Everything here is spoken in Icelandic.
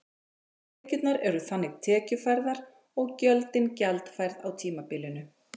Tekjurnar eru þannig tekjufærðar og gjöldin gjaldfærð á tímabilinu.